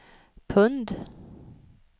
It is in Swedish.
pund